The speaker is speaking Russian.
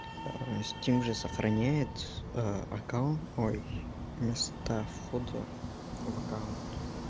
стим же сохраняет аккаунт мой вместо входа в аккаунт